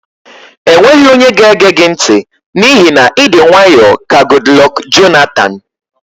E nweghị onye ga-ege gị ntị n'ihi na ịdị nwaayọ ka Gudlọk Jonatan.